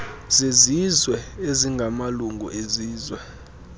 zezizwe ezingamalungu ezizwe